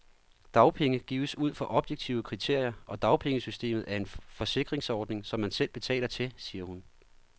Dagpenge gives ud fra objektive kriterier, og dagpengesystemet er en forsikringsordning, som man selv betaler til, siger hun.